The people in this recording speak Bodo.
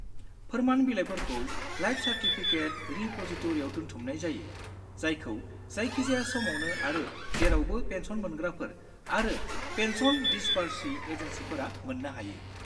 फोर्मान बिलाइफोरखौ लाइफ सार्टिफिकेट रिप'जिटरिआव दोनथुमनाय जायो, जायखौ जायखिजाया समावनो आरो जेरावबो पेन्सन मोनग्राफोर आरो पेन्सन दिसबार्सिं एजेन्सिफोरा मोन्नो हायो।